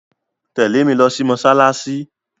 Tẹ̀lé mi lo sí mósálásí